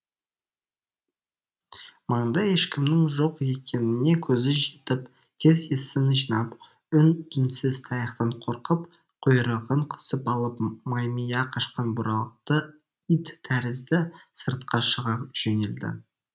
маңында ешкімнің жоқ екеніне көзі жетіп тез есін жинап үн түнсіз таяқтан қорқып құйрығын қысып алып маймия қашқан бұралқы ит тәрізді сыртқа шыға жөнелді